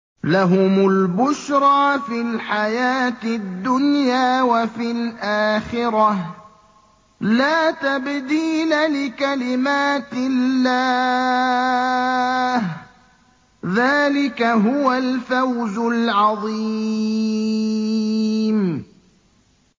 لَهُمُ الْبُشْرَىٰ فِي الْحَيَاةِ الدُّنْيَا وَفِي الْآخِرَةِ ۚ لَا تَبْدِيلَ لِكَلِمَاتِ اللَّهِ ۚ ذَٰلِكَ هُوَ الْفَوْزُ الْعَظِيمُ